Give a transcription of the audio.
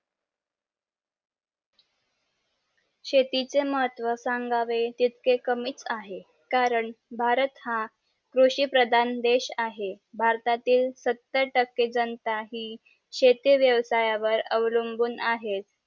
शेतीचे महत्व सांगावे जितके कमीच आहे कारण भारत हा कृषी प्रधान देश आहे भारतातील सत्तर टके जन शेती वेळ अवलंबून आहेत